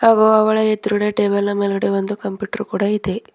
ಹಾಗೂ ಅವಳ ಎದುರುಗಡೆ ಟೇಬಲ್ ನ ಮೇಲೆ ಒಂದು ಕಂಪ್ಯೂಟರ್ ಕೂಡ ಇದೆ.